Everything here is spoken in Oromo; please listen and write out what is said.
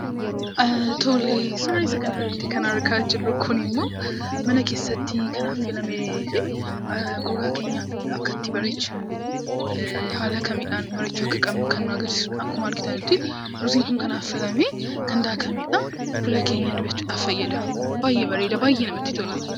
Suuraa isa kanarratti kan argaa jirru kun immoo mana keessatti kan affeelame fi gogaa keenya akkatti bareechinu haala kamiidhaan bareechuu akka qabnu kan nu agarsiisudha. Akkuma argitan, ruuziin kun kanaaf filame kan daakamedha. Fuula keenya dibachuuf fayyada. Baay'ee bareeda. Baay'ee namatti tola.